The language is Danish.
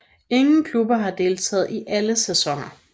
Ingen klubber har deltaget i alle sæsoner